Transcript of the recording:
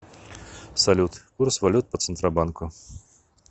салют курс валют по центробанку